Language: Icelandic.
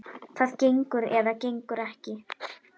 Það gengur eða gengur ekki.